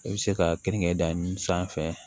I bɛ se ka keninke dan sanfɛ